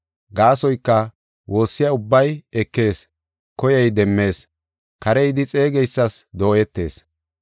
Gaasoyka, woossiya ubbay ekees; koyey demmees; kare yidi xeegeysas dooyetees.